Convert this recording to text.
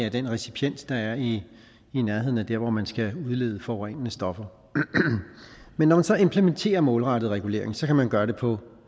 af den recipiens der er i nærheden af der hvor man skal udlede forurenende stoffer men når man så implementerer målrettet regulering kan man gøre det på